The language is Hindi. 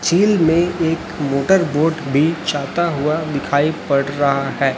झील में एक मोटर बोट भी जाता हुआ दिखाई दे पड रहा है।